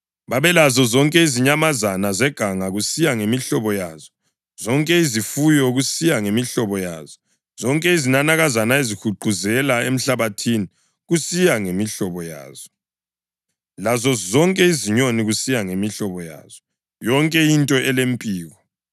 Babelazo zonke izinyamazana zeganga kusiya ngemihlobo yazo, zonke izifuyo kusiya ngemihlobo yazo, zonke izinanakazana ezihuquzela emhlabathini kusiya ngemihlobo yazo lazozonke izinyoni kusiya ngemihlobo yazo, yonke into elempiko.